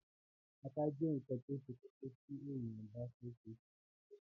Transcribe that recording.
ata jẹ́ ǹkan tó se kókó tí èèyàn bá fẹ́ se sùpàgẹ́tì